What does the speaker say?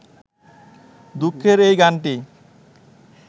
দুঃখের এই গানটি